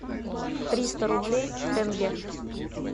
триста рублей в тенге